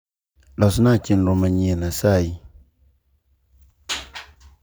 losna chenro manyien asayi